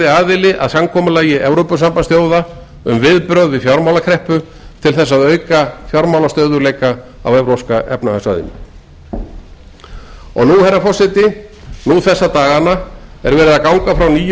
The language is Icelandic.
aðili að samkomulagi evrópusambandsþjóða um viðbrögð við fjármálakreppu til þess að auka fjármálastöðugleika á evrópska efnahagssvæðinu nú þessa dagana er verið að ganga frá nýju gjaldeyrisláni